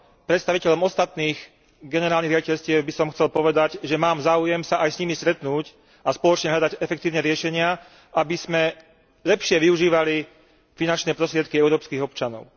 Predstaviteľom ostatných generálnych riaditeľstiev by som chcel povedať, že mám záujem sa aj s nimi stretnúť a spoločne hľadať efektívne riešenia, aby sme lepšie využívali finančné prostriedky európskych občanov.